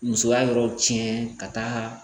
Musoya yɔrɔ tiɲɛ ka taaga